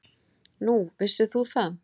Nú, vissir þú það?